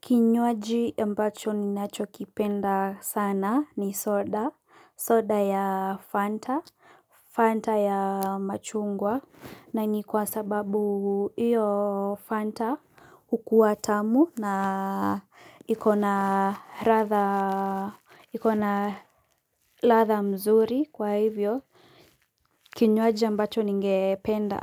Kinywaji ambacho ninacho kipenda sana ni soda soda ya fanta fanta ya machungwa na ni kwa sababu hio fanta hukuwa tamu na ikona ikona ladha mzuri kwa hivyo. Kinywaji ambacho ninge penda